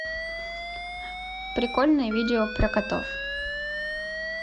прикольные видео про котов